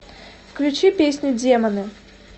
включи песню демоны